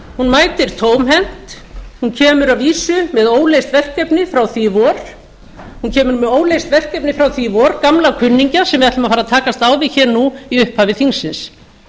hún mætir tómhent hún kemur að vísu með óleyst verkefni frá því í vor gamla kunningja sem við ætlum að fara að takast á við hér nú í upphafi þingsins